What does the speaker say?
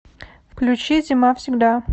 включи зимавсегда